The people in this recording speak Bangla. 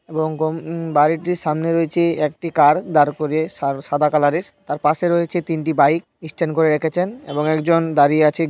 এবং গং ওম বাড়িটির সামনে রয়েছে একটি কার দাঁড় করিয়ে সা-সাদা কলোর এর তার পাশে রয়েছে তিনটি বাইক ইস্ট্যান্ড করে রেখেছেন এবং একজন দাঁড়িয়ে আছে--